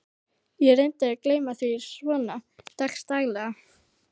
Ég reyni að gleyma því svona dags daglega.